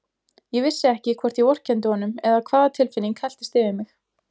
Ég vissi ekki hvort ég vorkenndi honum eða hvaða tilfinning helltist yfir mig.